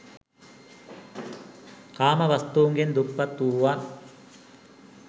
කාම වස්තුන්ගෙන් දුප්පත් වුවත්